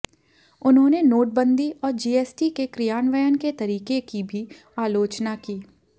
उन्होंने नोटबंदी और जीएसटी के क्रियान्वयन के तरीके की भी आलोचना की